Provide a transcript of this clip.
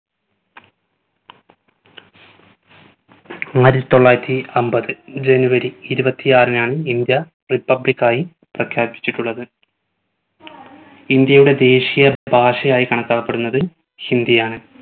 ആയിരത്തി തൊള്ളായിരത്തി അമ്പത് january ഇരുപത്തി ആറിനാണ് ഇന്ത്യ republic ആയി പ്രഖ്യാപിച്ചിട്ടുള്ളത് ഇന്ത്യയുടെ ദേശിയ ഭാഷയായി കണക്കാക്കപ്പെടുന്നത് ഹിന്ദിയാണ്.